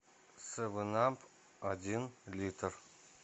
севен ап один литр